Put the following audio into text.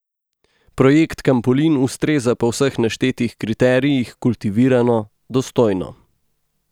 Projekt Kampolin ustreza po vseh naštetih kriterijih kultivirano, dostojno.